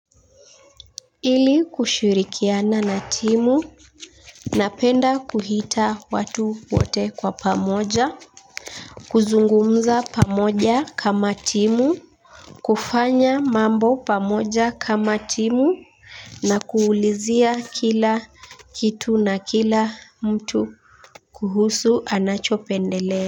Ili kushirikiana na timu napenda kuita watu wote kwa pamoja kuzungumza pamoja kama timu kufanya mambo pamoja kama timu na kuulizia kila kitu na kila mtu kuhusu anachopendelea.